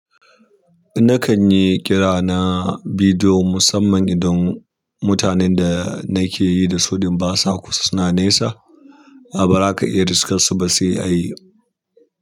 Nakan yi kira na bidiyo musamman idan mutanen da nake yi da su idan basa kusa suna nesa. Ah bazaka iya riskarsu ba sai a yi.